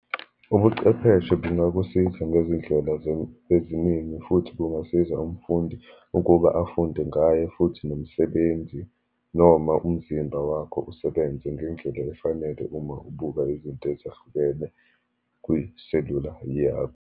Ubuchwepheshe bungakusiza ngezindlela eziningi, futhi kungasiza umfundi ukuba afunde ngayo futhi nomsebenzi, noma umzimba wakho usebenze ngendlela efanele uma ubuka izinto ezahlukene kwiselula .